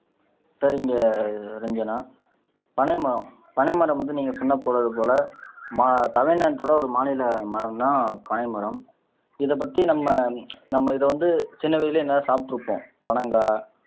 சரிங்க ரட்சனா பனைமரம் பனைமரம் வந்து நீங்க சொன்னது போல மா தமிழ்நாடோட ஒரு மாநில மரம் தான் பனை மரம் இதை பத்தி நம்ம நம்ம இதை வந்து சின்ன வயதிலேயே எங்கயாவது சாப்பிட்டிருப்போம் பனங்காய்